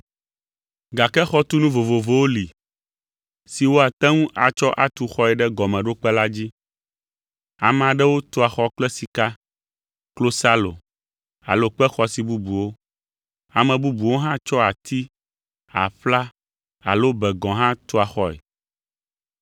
Gake xɔtunu vovovowo li si woate ŋu atsɔ atu xɔe ɖe gɔmeɖokpe la dzi. Ame aɖewo tua xɔ kple sika, klosalo alo kpe xɔasi bubuwo, ame bubuwo hã tsɔa ati, aƒla alo be gɔ̃ hã tua xɔe.